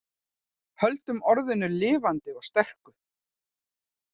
Höldum orðinu lifandi og sterku